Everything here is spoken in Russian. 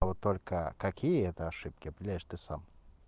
а вот только какие это ошибки определяешь ты сам